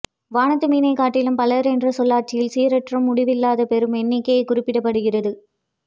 வானத்து மீனைக்காட்டிலும் பலர் என்ற சொல்லாட்சியில் சீரற்ற முடிவில்லாத பெரும் எண்ணிக்கை குறிப்பிடப்படுகிறது